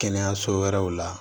Kɛnɛyaso wɛrɛw la